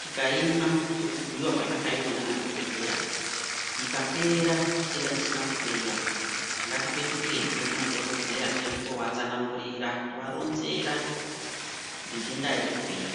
tikaimwa sekubhuirwa kwazvaka itwa ndiana dhokodheya. Ikapera chitenda chisina kupera ngati petukezve kuma dhokodheya tiende kuno vatsanangurira tova ronzera kuti nhenda haizi kupera.